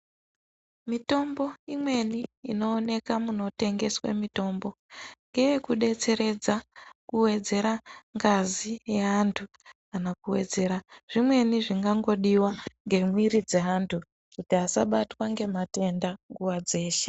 Mitombo imweni inooneke munotengeswe mitombo ngeyekudetseredza kuwedzera ngazi yeantu kana kuwedzera zvimweni zvingangodiwa ngemwiri dzeantu kuti asabatwa ngematenda nguva dzeshe.